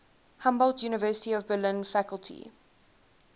humboldt university of berlin faculty